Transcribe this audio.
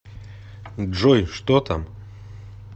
джой что там